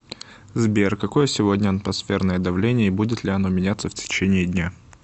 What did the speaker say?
сбер какое сегодня атмосферное давление и будет ли оно меняться в течении дня